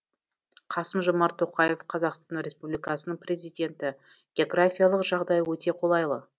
қасым жомарт тоқаев қазақстан республикасының президенті географиялық жағдайы өте қолайлы